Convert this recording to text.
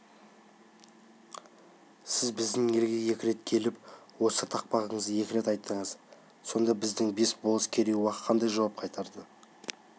сіз біздің елге екі рет келіп осы тақпағыңызды екі рет айттыңыз сонда біздің бес болыс керей-уақ қандай жауап қайтарды